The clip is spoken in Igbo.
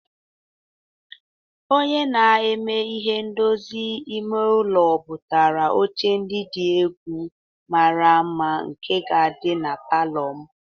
Onye na-eme ihe ndozi ime ụlọ bụtara oche ndị dị egwu, mara mma nke ga-adị na palọọ m